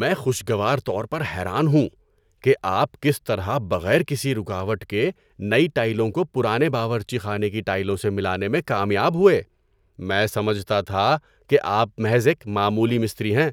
میں خوشگوار طور پر حیران ہوں کہ آپ کس طرح بغیر کسی رکاوٹ کے نئی ٹائلوں کو پرانے باورچی خانے کی ٹائلوں سے ملانے میں کامیاب ہوئے۔ میں سمجھتا تھا کہ آپ محض ایک معمولی مستری ہیں